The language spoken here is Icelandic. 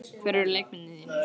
Hverjir eru leikmennirnir þrír?